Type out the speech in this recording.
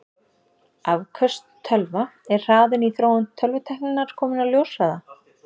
Afköst tölva Er hraðinn í þróun tölvutækninnar kominn á ljóshraða?